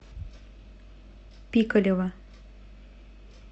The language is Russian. пикалево